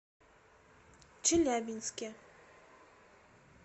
челябинске